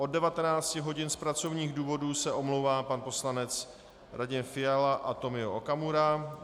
Od 19 hodin z pracovních důvodů se omlouvá pan poslanec Radim Fiala a Tomio Okamura.